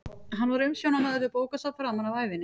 Hann var umsjónarmaður við bókasafn framan af ævinni.